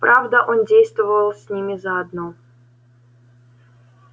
правда он действовал с ними заодно